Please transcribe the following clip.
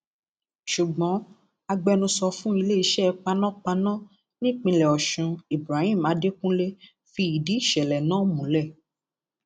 ṣùgbọn agbẹnusọ fún iléeṣẹ panápaná nípìnlẹ ọṣun ibrahim adẹkùnlé fi ìdí ìṣẹlẹ náà múlẹ